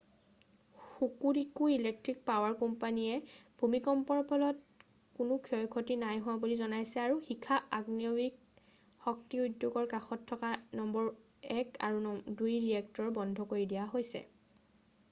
Hokuriku electric power কোম্পানীয়ে ভূমিকম্পৰ ফলত কোনো ক্ষয় ক্ষতি নাইহোৱা বুলি জনাইছে আৰু শিখা আণৱিক শক্তি উদ্যোগৰ কাষত থকা নম্বৰ 1 আৰু 2 ৰিয়েক্টৰ বন্ধ কৰি দিয়া হৈছে